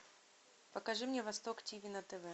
покажи мне восток тв на тв